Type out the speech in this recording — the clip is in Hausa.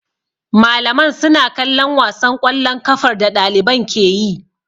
Malaman suna kallon wasan ƙwallon kafar da ɗaliban ke yi.